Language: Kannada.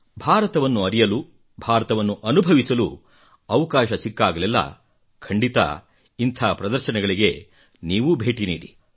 ಭಾರತವನ್ನು ಅರಿಯಲು ಭಾರತವನ್ನು ಅನುಭವಿಸಲು ಅವಕಾಶ ಸಿಕ್ಕಾಗಲೆಲ್ಲಾ ಖಂಡಿತ ಇಂಥ ಪ್ರದರ್ಶನಗಳಿಗೆ ಭೇಟಿ ನೀಡಿ